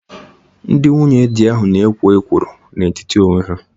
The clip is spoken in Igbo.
Ndị nwunye di ahụ na-ekwo ekworo n'etiti onwe ha